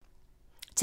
TV 2